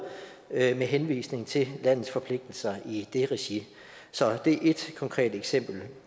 med henvisning til landets forpligtelser i det regi så det er et konkret eksempel